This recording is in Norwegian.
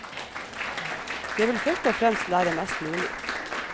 Jeg vil først og fremst lære mest mulig.